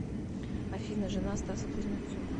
афина жена стаса кузнецова